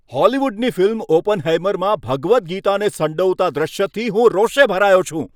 હોલિવૂડની ફિલ્મ "ઓપનહેઇમર"માં ભગવદ ગીતાને સંડોવતા દૃશ્યથી હું રોષે ભરાયો છું.